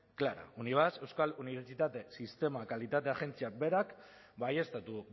clara unibasq euskal unibertsitate sistema kalitate agentziak berak baieztatu